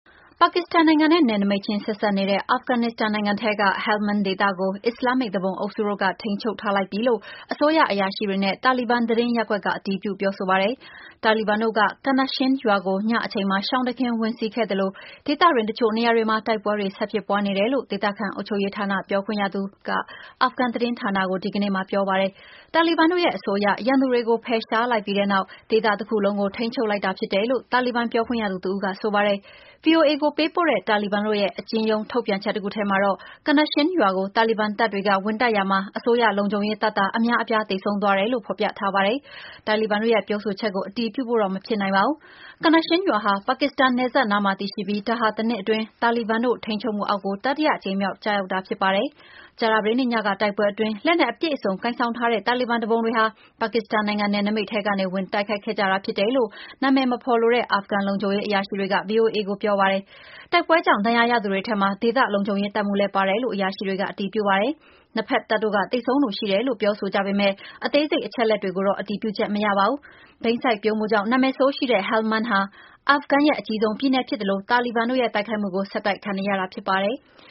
ပါကစ္စတန်နိုင်ငံနဲ့ နယ်စပ်ချင်းဆက်စပ်နေတဲ့ အာဖဂန်နစ္စတန်နိုင်ငံထဲက Helmand ဒေသကို အစ္စလာမ်မစ် သူပုန်အုပ်စုက ထိန်းချုပ်ထားလိုက်ပြီလို့ အစိုးရအရာရှိတွေနဲ့ တာလီဘန်သတင်းရပ်ကွက်က အတည်ပြု ပါတယ်။ တာလီဘန်တို့က Khanashin ရွာကို ညအချိန် ရှောင်တခင်ဝင်စီးခဲ့ပြီး ဒေသတွင်း အချို့နေရာတွေမှာ တိုက်ပွဲတွေဆက်ဖြစ်ပွားနေတယ်လို့ ဒေသခံအုပ်ချုပ်ရေးဌာန ပြောခွင့်ရသူက အာဖဂန် သတင်းဌာနကို ဒီကနေ့ ပြောပါတယ်။ တာလီဘန်တို့ရဲ့အဆိုအရ ရန်သူတွေကို ဖယ်ရှားလိုက်ပြီးတဲ့နောက် ဒေသတခုလုံးကို ထိန်းချုပ်လိုက်တာ ဖြစ်တယ်လို့ တာလီဘန်ပြောခွင့်ရသူတဦးက ဆိုပါတယ်။ VOA ကိုပေးပို့တဲ့ တာလီဘန်တို့ရဲ့ထုတ်ပြန်ချက် အတိုတခုထဲမှာတော့Khanashin ရွာကို တာလီဘန်တပ်တွေက ဝင်တိုက်ရာမှာ အစိုးရလုံခြုံရေးတပ်သား အများအပြားသေဆုံးသွားတယ်လို့ဖော်ပြထားပါတယ်။ တာလီဘန်တို့ရဲ့ပြောဆိုချက်ကို အတည်ပြုဖို့တော့ မဖြစ်နိုင်ပါဘူး။ Khanashin ရွာဟာ ပါကစ္စတန်နယ်စပ်နားမှာတည်ရှိပြီး ဒါဟာ တနှစ်အတွင်း တာလီဘန်တို့ ထိန်းချုပ်မှုအောက်ကို တတိယအကြိမ်မြောက် ကျရောက်တာ ဖြစ်ပါတယ်။ ကြာသပတေးနေ့ညက တိုက်ပွဲအတွင်း လက်နက်အပြည့်အစုံကိုင်ဆောင်ထားတဲ့ တာလီဘန်သူပုန်တွေဟာ ပါကစ္စတန်နိုင်ငံ နယ်နိမိတ် ထဲကနေ ဝင်ရောက်တိုက်ခိုက်ခဲ့တယ်လို့ အမည်မဖော်လိုတဲ့ အာဖဂန် လုံခြုံရေးအရာရှိတွေက VOA ကိုပြောပါတယ်။ တိုက်ပွဲကြောင့် ဒဏ်ရာရသူတွေထဲမှာ ဒေသ လုံခြုံရေးတပ်မှူးလည်းပါတယ်လို့ အရာရှိတွေက အတည်ပြုပါတယ်။ နှစ်ဘက်တပ်တို့က သေဆုံးသူ ရှိတယ်လို့ ပြောဆိုကြပေမယ့် အသေးစိတ်အချက်အလက်တွေကိုတော့ အတည်ပြုချက်မရပါဘူး။ ဘိန်းစိုက်ပျိုးမှုကြောင့် နာမည်ဆိုးရှိတဲ့ Helmand ဟာအာဖဂန်ရဲ့ အကြီးဆုံးပြည်နယ်ဖြစ်သလို တာဘန်တို့တိုက်ခိုက်မှုကို ဆက်တိုက်ခံနေရတာဖြစ်ပါတယ်။